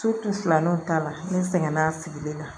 filanan o ta la ne sɛgɛnna a sigilen na